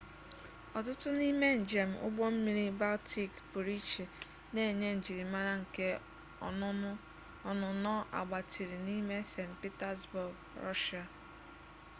ọtụtụ n'ime njem ụgbọmmiri baltik pụrụiche na-enye njirimara nke ọnụnọ agbatịrị n'ime st pitasbọọg rọshịa